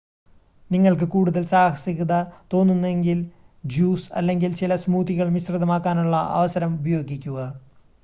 നിങ്ങൾക്ക് കൂടുതൽ സാഹസികത തോന്നുന്നുവെങ്കിൽ ജ്യൂസ് അല്ലെങ്കിൽ ചില സ്മൂത്തികൾ മിശ്രിതമാക്കാനുള്ള അവസരം ഉപയോഗിക്കുക